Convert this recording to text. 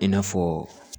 I n'a fɔ